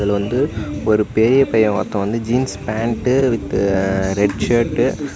வந்து ஒரு பெரிய பைய ஒருத்தன் வந்து jeans pant with red shirt .